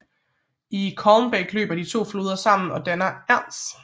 I Calmbach løber de to floder sammen og dannar Enz